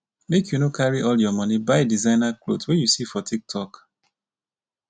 make you no carry all your moni buy designer cloth wey you see for tiktok.